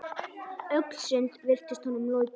Öll sund virtust honum lokuð.